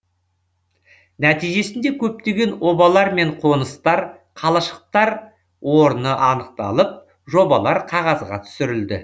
нәтижесінде көптеген обалар мен қоныстар қалашықтар орны анықталып жобалар қағазға түсірілді